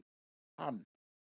Gaf hann